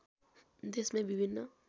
देशमै विभिन्न